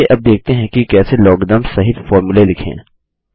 चलिए अब देखते हैं कि कैसे लॉगरिथम्स सहित फॉर्मूले लिखें